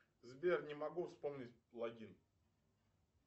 сбер не могу вспомнить логин